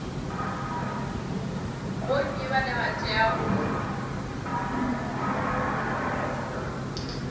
vhonnyi vhane vha teau u